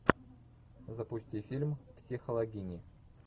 запусти фильм психологини